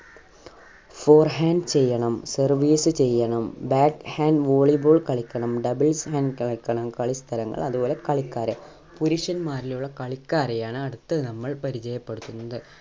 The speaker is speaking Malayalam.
forehand ചെയ്യണം service ചെയ്യണം bat hand volley ball കളിക്കണം doubles hand കളിക്കണം കളിസ്ഥലങ്ങൾ അതുപോലെ കളിക്കാരെ. പുരുഷന്മാരിലുള്ള കളിക്കാരെ ആണ് അടുത്തത് നമ്മൾ പരിചയപ്പെടുത്തുന്നത്.